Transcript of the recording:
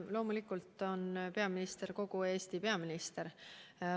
Loomulikult on peaminister kogu Eesti peaminister.